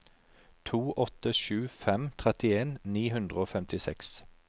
to åtte sju fem trettien ni hundre og femtiseks